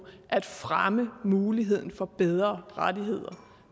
at fremme muligheden for bedre rettigheder